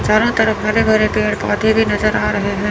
चारों तरफ हरे भरे पेड़ पौधे भी नजर आ रहे हैं।